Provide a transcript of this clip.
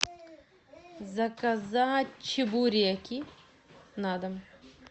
заказать чебуреки на дом